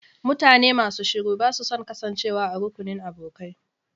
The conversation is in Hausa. Mutane masu shiru ba su son kasancewa a rukunin abokai.